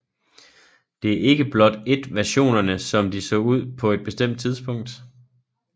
Det er ikke blot et versionerne som de så ud på et bestemt tidspunkt